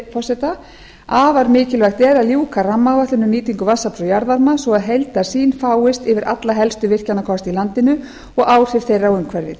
forseta afar mikilvægt er að ljúka rammaáætlun um nýtingu vatnsafls og jarðvarma svo að heildarsýn fáist yfir alla helstu virkjanakosti í landinu og áhrif þeirra á umhverfið